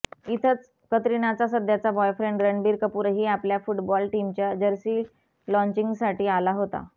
इथंच कतरीनाचा सध्याचा बॉयफ्रेंड रणबीर कपूरही आपल्या फुटबॉल टीमच्या जर्सी लॉन्चिंगसाठी आला होता